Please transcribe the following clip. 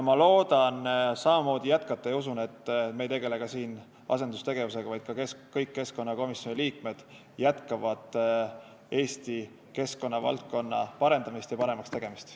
Ma loodan samamoodi jätkata ja usun, et me ei tegele ka siin asendustegevusega, vaid kõik keskkonnakomisjoni liikmed jätkavad Eesti keskkonnavaldkonna paremaks tegemist.